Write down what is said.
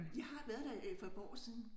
Jeg har været der for et par år siden